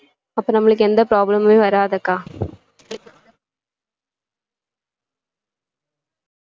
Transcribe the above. அப்போ நம்மளுக்கு எந்த problem முமே வராது அக்கா